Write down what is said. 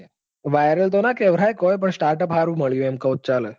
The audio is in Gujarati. viral તો ના કેવાય પણ startup સારું મળ્યું એમ કૌ તો ચાલે.